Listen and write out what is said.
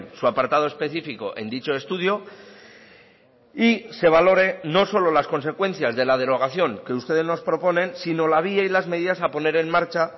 su apartado específico en dicho estudio y se valore no solo las consecuencias de la derogación que ustedes nos proponen sino la vía y las medidas a poner en marcha